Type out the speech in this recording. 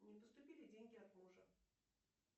не поступили деньги от мужа